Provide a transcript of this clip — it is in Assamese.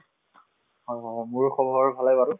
মোৰো খবৰ বাৰু ভালে বাৰু